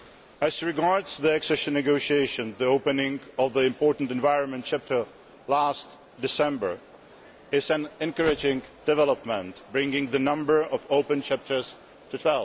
As regards the accession negotiations, the opening of the important environment chapter last December is an encouraging development, bringing the number of open chapters to